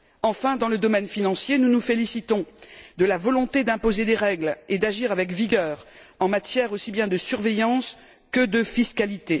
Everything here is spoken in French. Enfin, dans le domaine financier, nous nous félicitons de la volonté d'imposer des règles et d'agir avec vigueur en matière aussi bien de surveillance que de fiscalité.